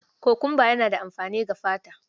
Kokumba yana da amfani ga fata.